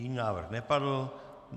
Jiný návrh nepadl.